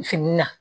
Fini na